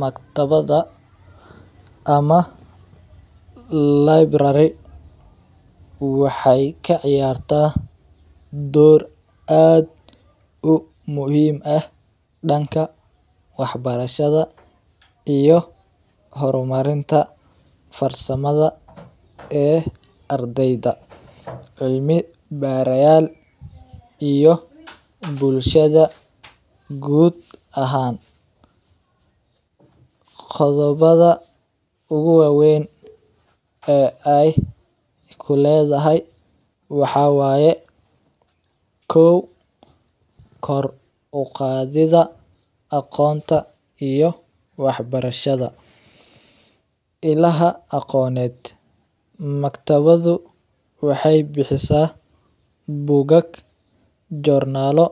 Maktabada ama library waxeey kaciyaarta door aad muhiim u ah danka wax barashada iyo hor marinta farsamada ee ardeyda, cilmi barayaal iyo bulshada guud ahaan, qodobada ugu waweyn ee aay kuledahay waxaa waye kow kor uqaadida aqoonta iyo wax barashada, ilaha aqooneed maktabadu waxeey bixisa bugag, joornaalo